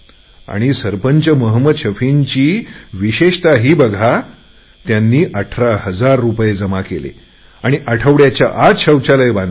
या गावप्रमुख मोहम्मद शफींची वैशिष्ट्य बघा त्यांनी अठरा हजार रुपये जमा केले आणि आठवड्याच्या आत शौचालय बनवले